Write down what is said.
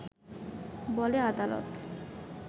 বলে আদালত